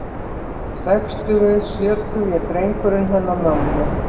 Sextugi, sjötugi drengurinn hennar mömmu.